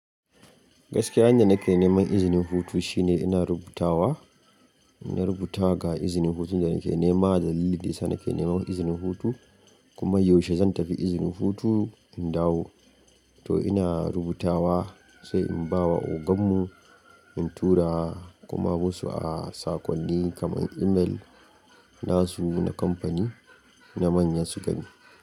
Gaskiya hanyar da nake neman izinin hutu shine ina rubutawa, in na rubuta ga izinin hutun da nake nema dalilin da ya sa nake nema izinin hutu kuma yaushe zan tafi izinin hutu in dawo. To ina rubutawa sai in bawa oganmu in tura kuma wasu a sakonni kamar email nasu na kamfani na manya su gani.